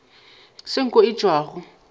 se nko ye e tšwago